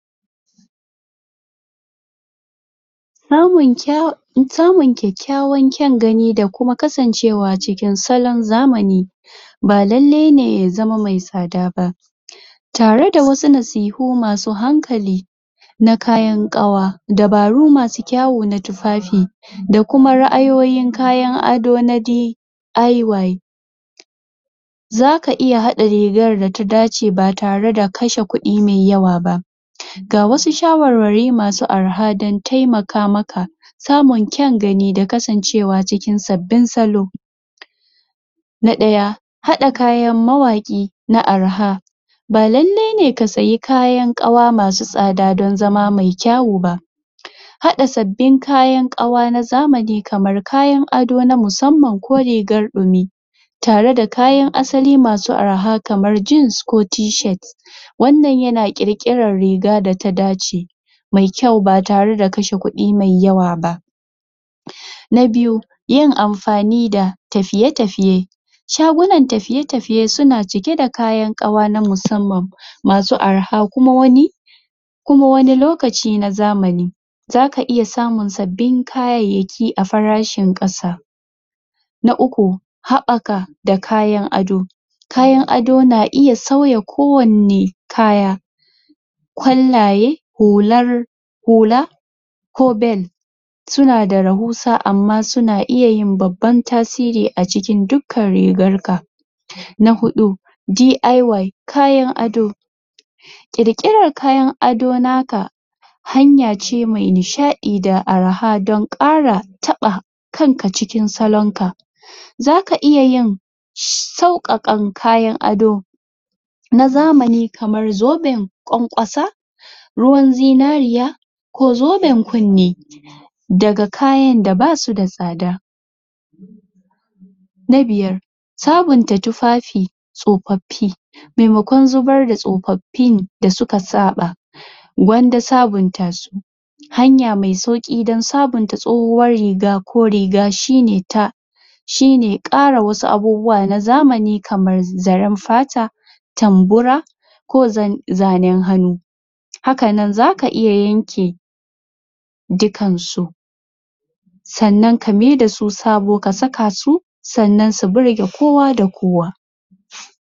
Samun kya samun kyakykyawan kyan gani da kuma kasancewa cikin salon zamani ba lallai ne ya zama mai tsada ba tare da wasu nasihu masu hankali na kayan ƙawa dabaru masu kyau na tufafi da kuma ra'ayoyin kayan ado na dai Aiwa za ka iya haɗa rigar da ta dace ba tare da ka kashe kudi mai yawa ba ga wasu shawarwari masu arha don taimaka maka samun kyan gani da kasancewa cikin sabbin salo na ɗaya haɗa kayan mawaƙi na arha ba lallai ne ka sayi kayan ƙawa masu tsada don zama mai kyau ba haɗa sabbin kayan ƙawa na zamani kamar kayan ado na musamman ko rigar ɗumi tare da kayan asali masu arha kamar jeans ko Tshirt wannan ya ƙirƙiran riga da ta dace mai kyau ba tare da kashe kudi mai yawa ba? na biyu yin amfani da tafiye-tafiye shagunan tafiye-tafiye suna cike da kayan ƙawa na musamman masu arha kuma wani kuma wani lokaci na zamani zaka iya samun sabbin kayayyaki a farashin ƙasa na uku haɓaka da kayan ado kayan ado na iya sauya ko wanne kaya kwallaye hular hula ko bell suna da rahusa amma suna iya yin babban tasiri a cikin dukkan rigar ka na huɗu DIY kayan ado ƙirƙiran kayan ado naka hanya ce mai nishadi da arha don ƙara taɓa kanka cikin salon ka zaka iya yin sauƙaƙa kyan ado na zamani kamar ƙwanƙwasa ruwan zinariya ko zoben kunni daga kayan da basu da tsada na biyar sabonta tufafi tsofaffi maimakon zubar da tsofaffin da suka saɓa gwanda sabonta su hanya mai sauƙi don sabonta tsohuwar riga ko riga shine ta shine ƙara wasu abubuwa na zamani kamar zaren fata tambura ko zanen hannu hakanan zaka iya yanke dukan su sannan ka maida su sabo ka saka su sannan su burge kowa da kowa